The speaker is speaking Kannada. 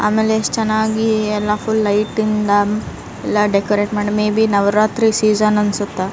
ಆಮೇಲೆ ಎಷ್ಟು ಚೆನ್ನಾಗೆ ಎಲ್ಲ ಫುಲ್ಲ್ ಲೈಟಿಂಗ್ ಎಲ್ಲ ಡೆಕೊರೇಟ್ ಮಾಡಿ ಮೇ ಬಿ ನವರಾತ್ರಿ ಸೀಸನ್ ಅನ್ಸುತ್ತ.